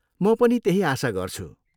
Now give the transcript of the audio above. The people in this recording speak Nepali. म पनि त्यही आशा गर्छु।